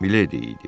Miledi idi.